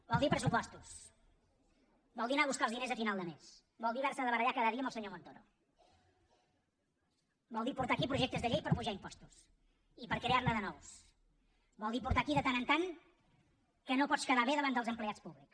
vol dir pressupostos vol dir anar a buscar els diners a final de mes vol dir haver se de barallar cada dia amb el senyor montoro vol dir portar aquí projectes de llei per apujar impostos i per crear ne de nous vol dir portar aquí de tant en tant que no pots quedar bé davant dels empleats públics